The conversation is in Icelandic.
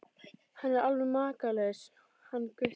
Hann er alveg makalaus hann Gutti.